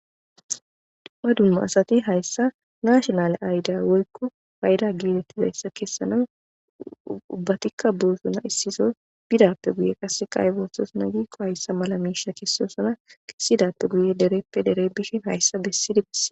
dumma dumma asati hayssa nashonale aydey woykko fayda gilelettizayssa kessana uubbatikka boosuna issisa bidappe guye qasse qaybossos na giikko hayssa mala miisha kessosona kessidappe guye dereppe dere bishin hayssa bessid besses.